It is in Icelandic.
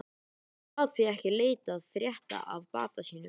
Hann gat því ekki leitað frétta af bata sínum.